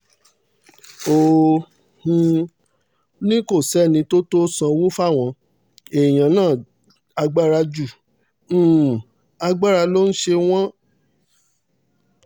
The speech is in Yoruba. ó um ní kò sẹ́ni tó tó sanwó fáwọn èèyàn náà agbára ju um agbára lọ n ṣé wọ́ǹ.